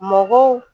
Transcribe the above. Mɔgɔw